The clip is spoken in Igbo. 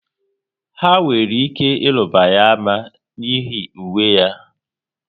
Ha nwere ike ịruba ya ama n'ihi uwe ya